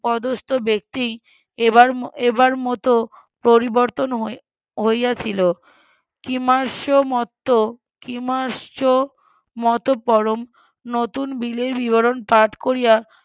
পদস্থ ব্যক্তি এবার এবার মত পরিবর্তন হইয়াছিল কিমাস্য মত কিমাশ্চমতপরম নতুন বিলের বিবরন পাঠ করিয়া